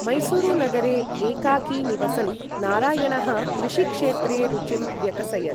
मैसूरुनगरे एकाकी निवसन् नारायणः कृषिक्षेत्रे रुचिं व्यकसयत्।